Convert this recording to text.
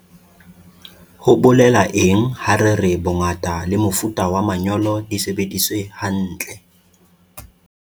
Ho bolela eng ha re re bongata le mofuta wa manyolo di sebediswe hantle?